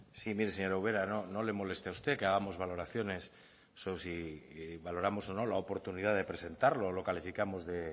sí mire señora ubera no le moleste a usted que hagamos valoraciones si valoramos o no la oportunidad de presentarlo o lo calificamos de